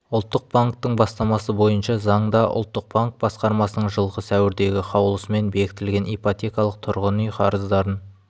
ұлттық банктің бастамасы бойынша заңда ұлттық банк басқармасының жылғы сәуірдегі қаулысымен бекітілген ипотекалық тұрғын үй қарыздарын